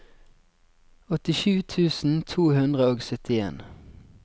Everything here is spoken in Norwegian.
åttisju tusen to hundre og syttien